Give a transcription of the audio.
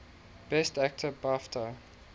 best actor bafta